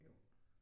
Jo